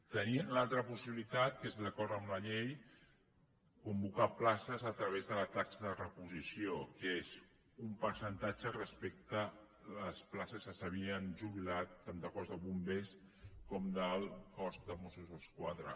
tenien l’altra possibilitat que és d’acord amb la llei convocar places a través de la taxa de reposició que és un percentatge respecte a les places que s’havien ju·bilat tant del cos de bombers com del cos de mossos d’esquadra